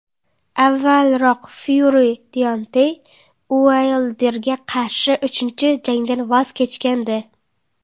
Avvalroq Fyuri Deontey Uaylderga qarshi uchinchi jangdan voz kechgandi .